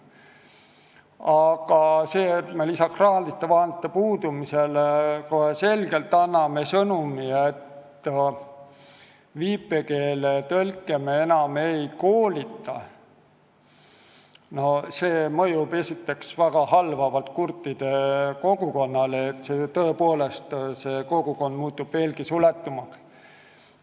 Aga kui me lisaks raha puudumisele anname selge sõnumi, et viipekeeletõlke enam ei koolitata, siis see mõjub esiteks halvavalt kurtide kogukonnale, kes muutub veelgi suletumaks.